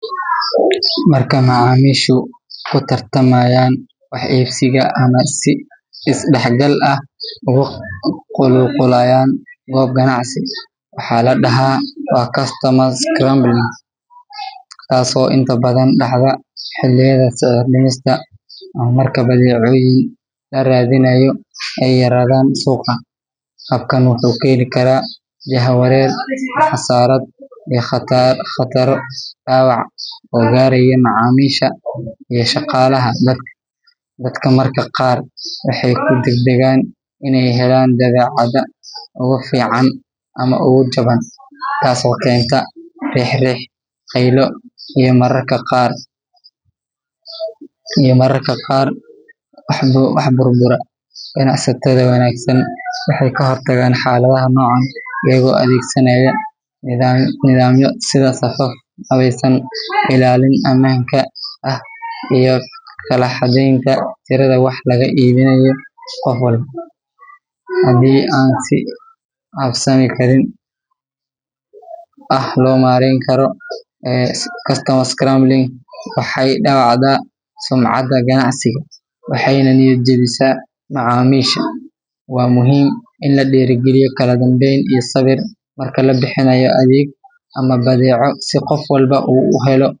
Marka macaamiishu ku tartamayaan wax iibsiga ama ay si is-dhexgal ah ugu qulqulayaan goob ganacsi, waxaa la dhahaa waa customers scrumbling, taasoo inta badan dhacda xilliyada sicir-dhimista ama marka badeecooyin la raadinayo ay yaraadaan suuqa. Habkan wuxuu keeni karaa jahawareer, xasarad iyo khataro dhaawac oo gaaraya macaamiisha iyo shaqaalaha. Dadka mararka qaar waxay ku degdegaan inay helaan badeecada ugu fiican ama ugu jaban, taasoo keenta riix-riix, qaylo iyo mararka qaar wax burbura. Ganacsatada wanaagsan waxay ka hortagaan xaaladaha noocan ah iyagoo adeegsanaya nidaamyo sida safaf habaysan, ilaalin ammaanka ah, iyo kala xadaynta tirada wax laga iibinayo qof walba. Haddii aan si habsami ah loo maareyn, customers scrumbling waxay dhaawacdaa sumcadda ganacsiga, waxayna niyad jebisaa macaamiisha. Waa muhiim in la dhiirrigeliyo kala dambeyn iyo sabir marka la bixinayo adeeg ama badeeco, si qof walba uu u helo.